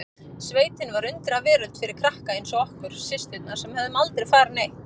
Sveitin var undraveröld fyrir krakka eins og okkur systurnar sem höfðum aldrei farið neitt.